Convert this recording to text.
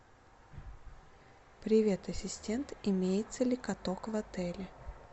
привет ассистент имеется ли каток в отеле